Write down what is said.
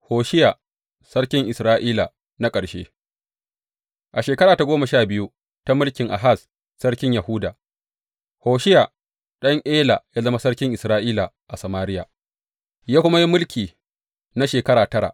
Hosheya sarkin Isra’ila na ƙarshe A shekara ta goma sha biyu ta mulkin Ahaz sarkin Yahuda, Hosheya ɗan Ela ya zama sarkin Isra’ila a Samariya, ya kuma yi mulki na shekara tara.